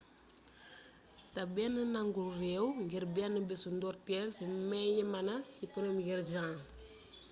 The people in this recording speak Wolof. té benn nangul réew ngir bénn bésu ndoortéle ci may yémbna ci 1 jan